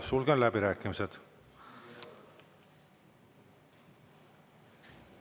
Sulgen läbirääkimised.